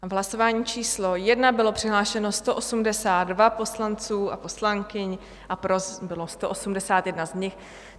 V hlasování číslo 1 bylo přihlášeno 182 poslanců a poslankyň a pro bylo 181 z nich.